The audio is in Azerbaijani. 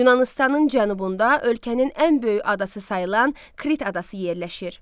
Yunanıstanın Cənubunda ölkənin ən böyük adası sayılan Krit adası yerləşir.